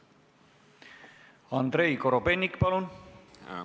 Andrei Korobeinik, palun!